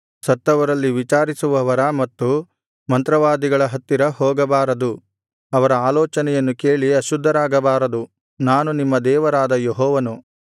ಸತ್ತವರಲ್ಲಿ ವಿಚಾರಿಸುವವರ ಮತ್ತು ಮಂತ್ರವಾದಿಗಳ ಹತ್ತಿರ ಹೋಗಬಾರದು ಅವರ ಆಲೋಚನೆಯನ್ನು ಕೇಳಿ ಅಶುದ್ಧರಾಗಬಾರದು ನಾನು ನಿಮ್ಮ ದೇವರಾದ ಯೆಹೋವನು